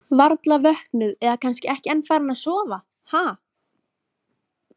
Varla vöknuð eða kannski ekki enn farin að sofa, ha?